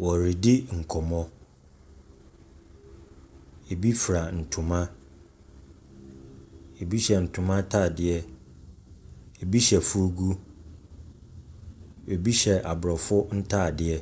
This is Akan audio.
Wɔredi nkɔmmɔ. Ebi fura ntoma, ebi hyɛ ntoma atadeɛ. Ebi hyɛ fugu. Ebi hyɛ aborɔfo ntadeɛ.